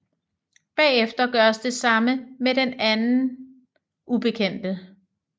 Bagefter gøres det samme med den anden ubekendte